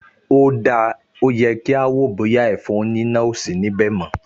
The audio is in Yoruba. O dáa, ó yẹ kí a wò ó bóyá ẹ̀fọn oníná ò sí níbẹ̀ mọ́